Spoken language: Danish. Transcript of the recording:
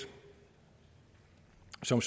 som